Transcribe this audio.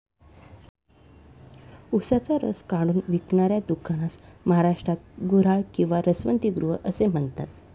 ऊसाचा रस काढून विकणाऱ्या दुकानास महाराष्ट्रात गुऱ्हाळ किंवा रसवंतीगृह असे म्हणतात.